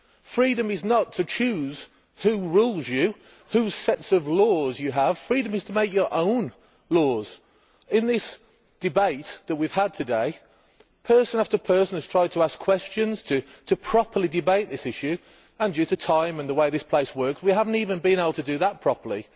Freedom is not to choose who rules you, whose sets of laws you have freedom is to make your own laws. In this debate that we have had today, person after person has tried to ask questions to properly debate this issue, and due to time and the way this place works we have not even been able to do that properly.